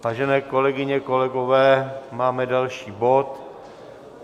Vážené kolegyně, kolegové, máme další bod.